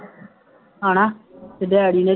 ਹੈ ਨਾ ਅਤੇ ਦਿਹਾੜੀ ਨੇ